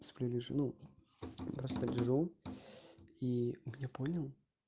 сплю вижу ну просто лежу и мне понял